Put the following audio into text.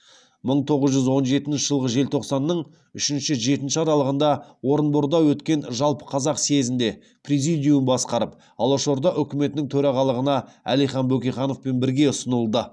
мың тоғыз жүз он жетінші жылғы желтоқсанның үшінші жетінші аралығында орынборда өткен жалпықазақ съезінде президиум басқарып алашорда үкіметінің төрағалығына әлихан бөкейхановпен бірге ұсынылды